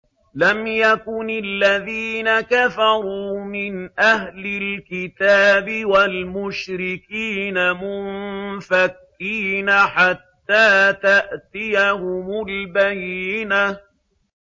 لَمْ يَكُنِ الَّذِينَ كَفَرُوا مِنْ أَهْلِ الْكِتَابِ وَالْمُشْرِكِينَ مُنفَكِّينَ حَتَّىٰ تَأْتِيَهُمُ الْبَيِّنَةُ